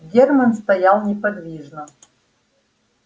германн стоял неподвижно